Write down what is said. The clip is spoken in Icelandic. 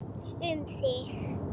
Um þig.